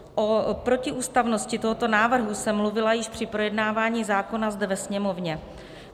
O protiústavnosti tohoto návrhu jsem mluvila již při projednávání zákona zde ve Sněmovně.